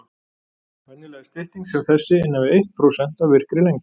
Venjulega er stytting sem þessi innan við eitt prósent af virkri lengd.